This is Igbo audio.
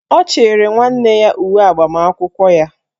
Ọ chịrị nwanne ya uwe agbamakwụkwọ ya.